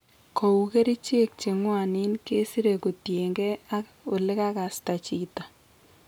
Kou kerichek cheng'wanen kesire kotienge ak olegasta chito